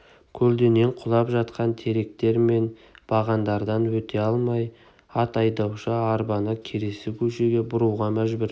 көлденең құлап жатқан теректер мен бағандардан өте алмай ат айдаушы арбаны келесі көшеге бұруға мәжбүр